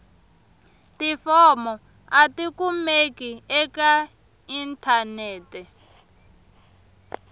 tifomo a tikumeki eka inthanete